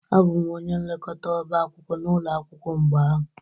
Abụ m onye nlekọta ọbá akwụkwọ n'ụlọ akwụkwọ mgbe ahụ